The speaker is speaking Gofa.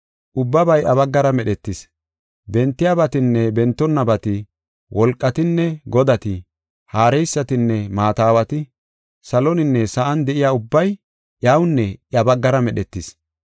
Ubbabay iya baggara medhetis. Bentiyabatinne bentonnabati, wolqatinne godati, haareysatinne maata aawati, saloninne sa7an de7iya ubbay iyawunne iya baggara medhetis.